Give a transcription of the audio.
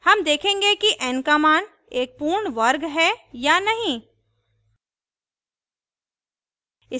हम देखेंगे कि n का मान एक पूर्ण वर्ग है या नहीं